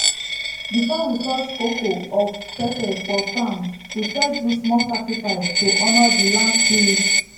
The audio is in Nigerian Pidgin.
before we touch coco or pepper for farm we first do small sacrifice to honour the land spirits.